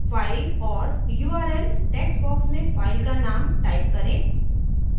file or url text box में file का name type करें